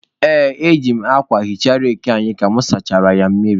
Ee, eji m akwa hichaa reki anyị ka mụ sachara ya mmiri.